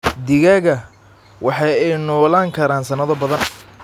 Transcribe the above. Digaagga waxa ay noolaan karaan sanado badan.